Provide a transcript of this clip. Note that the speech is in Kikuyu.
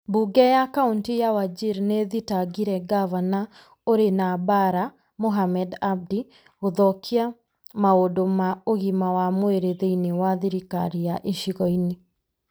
Mbunge ya Kauntĩ ya Wajir nĩ ĩthitangĩire ngavana ũrĩ na mbaara Mohamed Abdi gũthokia maũndũ ma ũgima wa mwiri thĩinĩ wa thirikari ya icigo-inĩ .